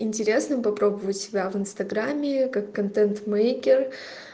интересно попробовать себя в инстаграме как контент мейкер